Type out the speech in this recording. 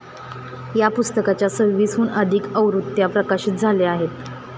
या पुस्तकाच्या सव्वीसहून अधिक आवृत्त्या प्रकाशित झाल्या आहेत.